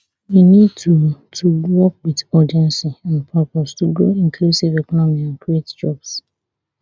we need to to work wit urgency and purpose to grow inclusive economy and create jobs